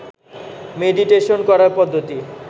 meditation করার পদ্ধতি